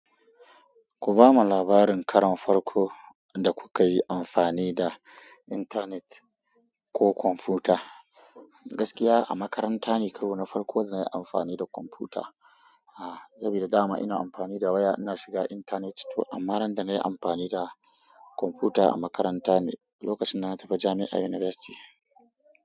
Ku ba mu labarin karon farko da kuka yi amfani da intanet ko kwamfuta. Gaskiya a makaranta ne karona farko da na yi amfani da kwamfuta. Ah, sabida dama ina amfani da waya ina shiga intanet. To amma ran da na yi amfani da kwamfuta a makaranta ne, lokacin da na tafi jami'a university.